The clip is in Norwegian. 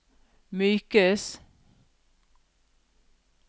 mykes